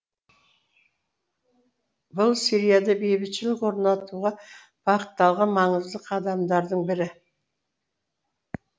бұл сирияда бейбітшілік орнатуға бағытталған маңызды қадамдардың бірі